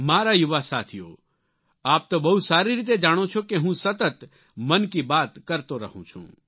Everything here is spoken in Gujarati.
મારા યુવા સાથીઓ આપ તો બહુ સારી રીતે જાણો છો કે હું સતત મન કી બાત કરતો રહું છું